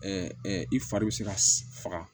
i fari bi se ka faga